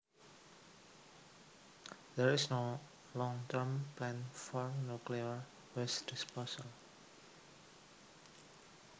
There is no long term plan for nuclear waste disposal